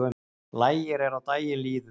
Lægir er á daginn líður